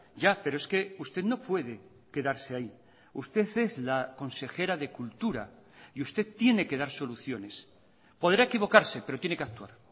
ya pero es que usted no puede quedarse ahí usted es la consejera de cultura y usted tiene que dar soluciones podrá equivocarse pero tiene que actuar